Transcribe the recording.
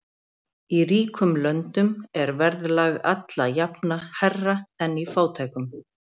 Í ríkum löndum er verðlag alla jafna hærra en í fátækum.